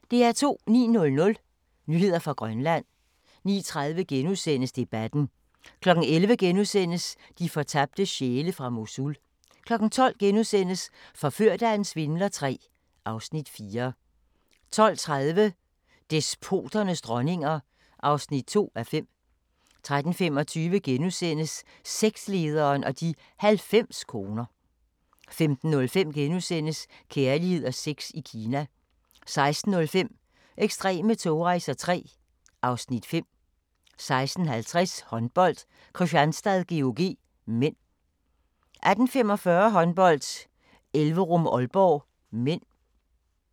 09:00: Nyheder fra Grønland 09:30: Debatten * 11:00: De fortabte sjæle fra Mosul * 12:00: Forført af en svindler III (Afs. 4)* 12:30: Despoternes dronninger (2:5) 13:25: Sektlederen og de 90 koner * 15:05: Kærlighed og sex i Kina * 16:05: Ekstreme togrejser III (Afs. 5) 16:50: Håndbold: Kristianstad-GOG (m) 18:45: Håndbold: Elverum-Aalborg (m)